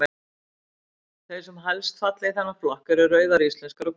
Þær sem helst falla í þennan flokk eru Rauðar íslenskar og Gular íslenskar.